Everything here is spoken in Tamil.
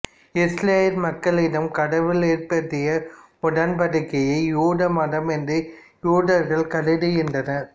இஸ்ரயேல் மக்களிடம் கடவுள் ஏற்படுத்திய உடன்படிக்கையே யூத மதம் என்று யூதர்கள் கருதுகின்றனர்